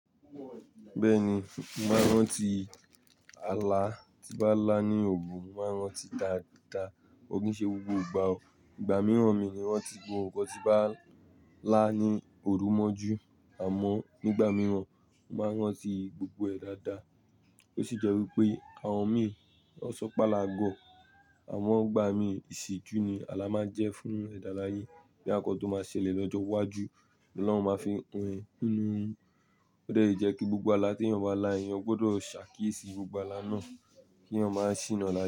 Bẹ́ẹ̀ni, máa rántí ala tí bá lá ní òrù mo máa n rántí dadaa. Ko ki ṣe gbogbo ìgbà o, ìgbà mìíràn mi ni ranti gbọ́. Gbogbo nkan tí bá lá ní òru mọ́ jù àmọ́n nígbà mìíràn máa rán sí gbogbo ẹ̀ dáadáa. Ó sì jẹ́ wípé àwọn mìí ma sọ́ pe ala goọ̀ àmọn ìgbà mìí ìṣẹ́jú ni ala máa jẹ́ fún ẹ̀dá láye boya nkan tó máa ṣẹlẹ̀ lọ́jọ́ iwájú ni Ọlọ́run máa fi han ninú orun. Ó de ye kí gbogbo ala tí èèyàn bá lá yẹn ó gbọdọ̀ ṣàkíyèsí gbogbo ala náà kí èèyàn má sìna láye.